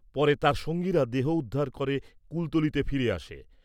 পরে তার সঙ্গীরা দেহ উদ্ধার করে কুলতলীতে ফিরে আসে।